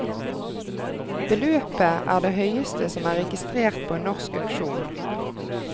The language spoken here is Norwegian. Beløpet er det høyeste som er registret på en norsk auksjon.